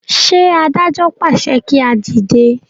ṣe adájọ pàṣẹ kí a dìde?